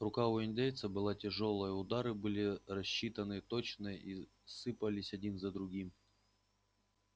рука у индейца была тяжёлая удары были рассчитаны точно и сыпались один за другим